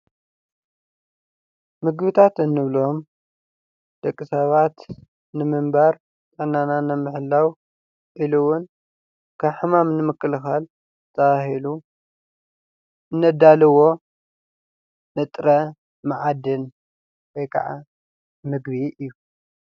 ምግብታት እንብሎም ደቂ ሰባት ንምንባር ጥዕናና ንምሕላው ኢሉውን ካብ ሕማም ንምኽልካል ተባሂሉ እነዳልዎ ንጥረ መዓድን ወይከዓ ምግቢ እዩ።